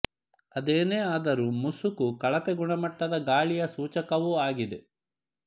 ಅದೇನೇ ಆದರೂ ಮುಸುಕು ಕಳಪೆ ಗುಣಮಟ್ಟದ ಗಾಳಿಯ ಸೂಚಕವು ಆಗಿದೆ